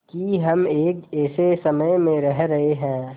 कि हम एक ऐसे समय में रह रहे हैं